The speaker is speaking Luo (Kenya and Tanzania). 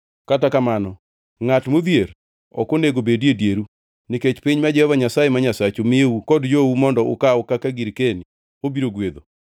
Kata kamano, ngʼat modhier ok onego bedi e dieru, nikech piny ma Jehova Nyasaye ma Nyasachu miyou kod jou mondo ukaw kaka girkeni obiro gwedho,